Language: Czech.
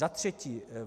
Za třetí.